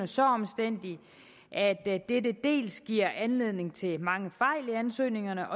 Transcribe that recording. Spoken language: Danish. så omstændelige at dette dels giver anledning til mange fejl i ansøgningerne